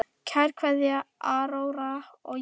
Kær kveðja, Áróra og Jenný.